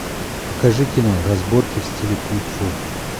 покажи кино разборки в стиле кунг фу